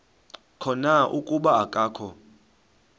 khona kuba akakho